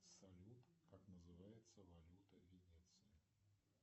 салют как называется валюта венеции